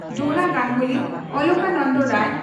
Dona Ganguly Alokananda Ray